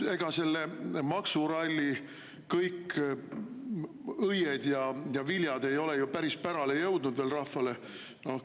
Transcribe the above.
No ega selle maksuralli kõik õied ja viljad ei ole veel ju päris pärale jõudnud rahvale.